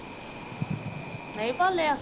ਨਹੀਂ ਬੋਲਿਆ